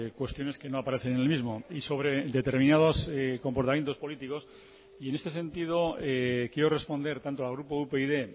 cuestiones que no aparecen en el mismo y sobre determinados comportamientos políticos y en este sentido quiero responder tanto al grupo upyd